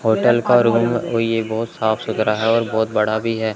Hotel का room ओ ये बहुत साफ सुथरा है और बहुत बड़ा भी है।